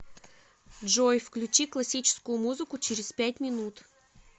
джой включи классическую музыку через пять минут